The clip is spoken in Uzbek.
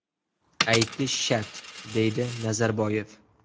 Aytish shart”, deydi Nazarboyev.